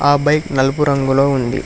ఆ బైక్ నలుపు రంగులో ఉంది.